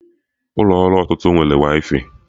Ụlọ ọrụ ọtụtụ nwere waifai